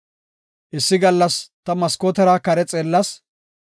Issi gallas ta maskootera kare xeellas.